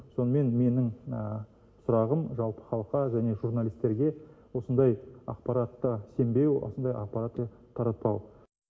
сонымен менің сұрағым жалпы халыққа және журналистерге осындай ақпаратқа сенбеу осындай ақпартты таратпау